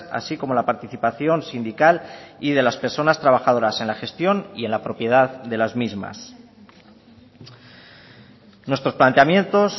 así como la participación sindical y de las personas trabajadoras en la gestión y en la propiedad de las mismas nuestros planteamientos